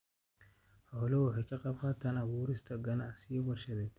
Xooluhu waxay ka qaybqaataan abuurista ganacsiyo warshadeed.